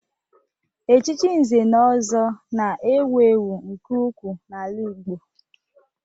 Echichi Nze na Ọzọ na-ewu ewu nke ukwuu n'ala Igbo